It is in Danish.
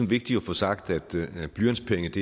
vigtigt at få sagt at blyantspenge ikke